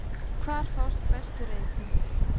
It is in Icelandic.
Hvar fást bestu reipin?